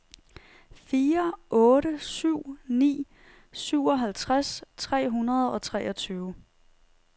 fire otte syv ni syvoghalvtreds tre hundrede og treogtyve